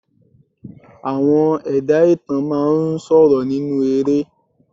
Àwọn ẹ̀dá ìtàn máa ń sọ̀rọ̀ nínú eré